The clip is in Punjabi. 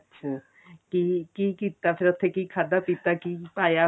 ਅੱਛਾ ਤੇ ਕੀ ਕੀਤਾ ਫੇਰ ਉੱਥੇ ਕੀ ਖਾਦਾ ਪੀਤਾ ਕੀ ਪਾਇਆ